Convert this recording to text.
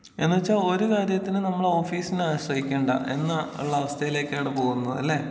എന്നുവെച്ചാ ഒരു കാര്യത്തിനും നമ്മൾ ഓഫീസിനെ ആശ്രയിക്കണ്ട എന്നാ ഉള്ള അവസ്ഥയിലേക്കാണ് പോകുന്നത് അല്ലേ.